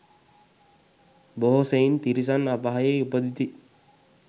බොහෝ සෙයින් තිරිසන් අපායෙහි උපදිති.